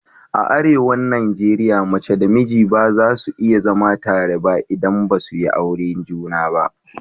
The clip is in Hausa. A arewan Najeriya mace da namiji ba za su iya zama tare ba idan basu yi aure juna ba